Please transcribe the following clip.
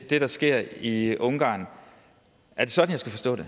det der sker i ungarn er det sådan